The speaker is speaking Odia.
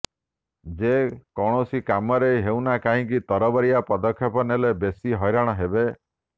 ଯେ କୌନସି କାମରେ ହେଉନା କାହିଁକି ତରବରିଆ ପଦକ୍ଷେପ ନେଲେ ବେଶି ହଇରାଣ ହେବେ